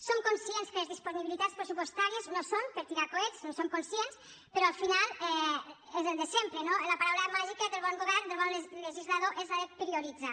som conscients que les disponibilitats pressupostàries no són per tirar per coets en som conscients però al final és el de sempre no la paraula màgica del bon govern del bon legislador és la de prioritzar